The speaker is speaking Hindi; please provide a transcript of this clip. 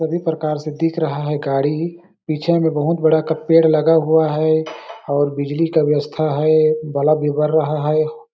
सभी प्रकार से दिख रहा है गाड़ी पीछे में बहुत बड़ा का पेड़ लगा हुआ है और बिजली का आस्था है बल्ब भी बर रहा हैं।